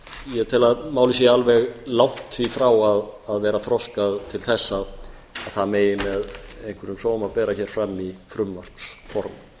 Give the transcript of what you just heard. ég tel að málið sé alveg langt í frá að vera þroskað til þess að það megi með einhverjum sóma bera hér fram í frumvarpsformi